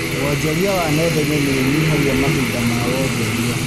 Wonjoria wa nenda-inĩ niũnyihagia mahinda ma wonjoria